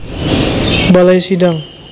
Balai Sidang